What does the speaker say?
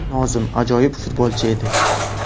Nozim ajoyib futbolchi edi.